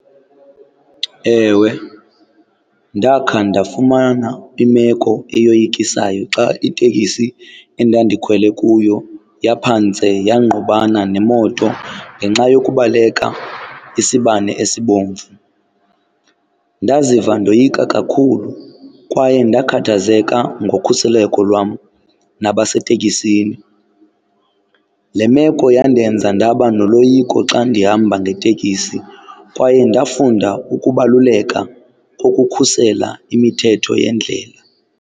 Ewe, ndakha ndafumana imeko eyoyikisayo xa iteksi endandikhwele kuyo yaphantse yangqubana nemoto ngenxa yokubaleka isibane esibomvu. Ndaziva ndoyika kakhulu kwaye ndakhathazeka ngokhuseleko lwam nabaseteksini. Le meko yandenza ndaba noloyiko xa ndihamba ngeteksi kwaye ndafunda ukubaluleka kokukhusela imithetho yendlela.